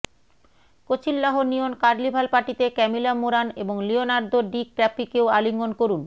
Coachella neon carnival পার্টিতে Camila Morrone এবং Leonardo ডিক্যাপ্রিওকে আলিঙ্গন করুন